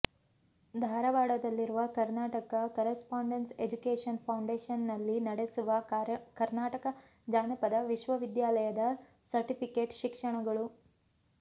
ಧಾರವಾಡದಲ್ಲಿರುವ Karnataka correspondence education foundation ನಲ್ಲಿ ನಡೆಸುವ ಕರ್ನಾಟಕ ಜಾನಪದ ವಿಶ್ವವಿದ್ಯಾಲಯದ ಸರ್ಟಿಫಿಕೇಟ್ ಶಿಕ್ಷಣಗಳು